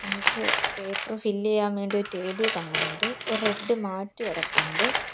നമുക്ക് paper fill ചെയ്യാൻ വേണ്ടി ഒരു ടേബിൾ കാണുന്നുണ്ട് ഒരു റെഡ് മാറ്റ് കിടപ്പുണ്ട്.